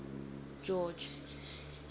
george